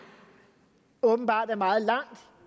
åbenbart er meget langt